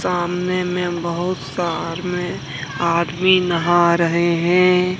सामने में बहुत सा आहार में आदमी नहा रहे हैं।